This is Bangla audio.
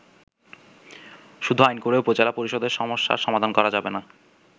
শুধু আইন করে উপজেলা পরিষদের সমস্যার সমাধান করা যাবেনা।